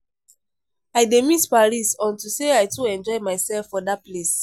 I dey miss París unto say I too enjoy myself for dat place